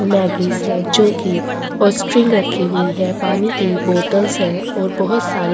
और मग्गीस है जो की जो की ऑस्ट्रिन्ग रखी हुई हैं पानी की बॉतल्स है और बहोत सारी--